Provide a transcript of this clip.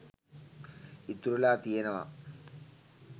ඉතුරු වෙලා තියෙනවා.